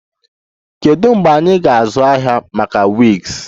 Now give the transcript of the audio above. Kedu mgbe anyị ga-azụ ahịa maka wigs?